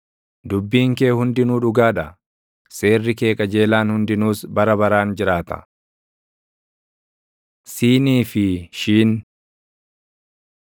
Dubbiin kee hundinuu dhugaa dha; seerri kee qajeelaan hundinuus bara baraan jiraata. ש Siinii fi Shiin